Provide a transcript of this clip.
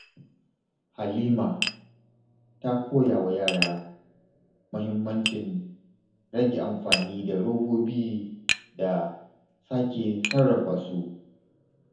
Halima ta koya wa yara muhimmancin rage amfani da robobi da sake sarrafa su.